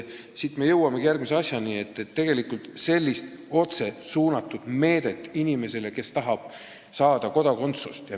Siit me jõuamegi järgmise asjani, et tegelikult on sellist otse suunatud meedet vaja inimesele, kes tahab saada kodakondsust.